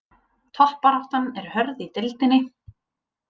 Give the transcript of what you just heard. Toppbaráttan er hörð í deildinni